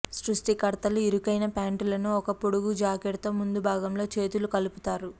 సృష్టికర్తలు ఇరుకైన ప్యాంటులను ఒక పొడుగు జాకెట్ తో ముందు భాగంలో చేతులు కలుపుతారు